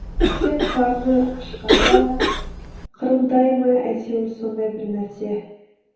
тек қарны ашқанда қырылдай ма әйтеуір сондай бірнәрсе